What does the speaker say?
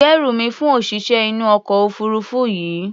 Gbérù mi fún òṣìṣẹ́ inú ọkọ̀ òfuurufú yìí!